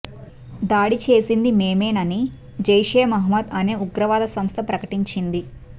దాడి చేసింది మేమేనని జైషే మహ్మద్ అనే ఉగ్రవాద సంస్థ ప్రకటించింది